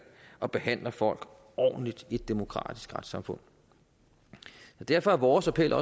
og behandler folk ordentligt i et demokratisk retssamfund derfor er vores appel